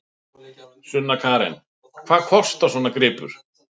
Sunna Karen: Hvað kostar svona gripur?